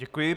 Děkuji.